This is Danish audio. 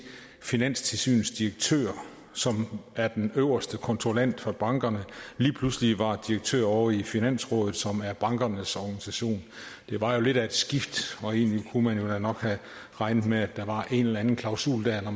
finanstilsynets direktør som er den øverste kontrollant af bankerne lige pludselig var direktør ovre i finansrådet som er bankernes organisation der var jo lidt af et skifte og egentlig kunne man nok have regnet med at der var en eller anden klausul der når